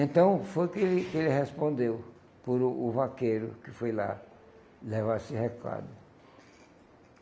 Então, foi que ele que ele respondeu por o o vaqueiro que foi lá levar esse recado.